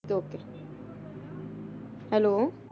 Hello